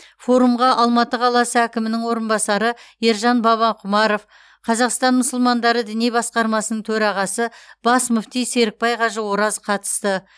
форумға алматы қаласы әкімінің орынбасары ержан бабақұмаров қазақстан мұсылмандары діни басқармасының төрағасы бас мүфти серікбай қажы ораз қатысты